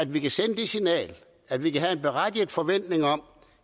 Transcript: vi kan sende det signal at vi kan have en berettiget forventning om